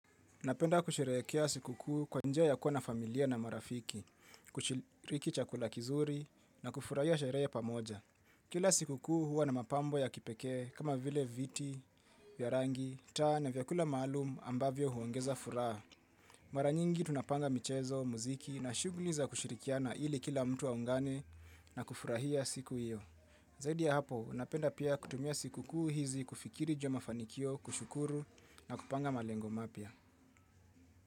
Napenda kusherehekea siku kuu kwa njia ya kuwa na familia na marafiki, kushiriki chakula kizuri na kufurahia sherehe pamoja. Kila siku kuu huwa na mapambo ya kipekee kama vile viti, vya rangi, taa na vyakula maalum ambavyo huongeza furaha. Mara nyingi tunapanga michezo, muziki na shughuli za kushirikia na ili kila mtu aungane na kufurahia siku hiyo. Zaidi ya hapo, napenda pia kutumia siku kuu hizi kufikiri ju ya mafanikio, kushukuru na kupanga malengo mapia.